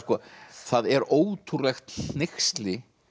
það er ótrúlegt hneyksli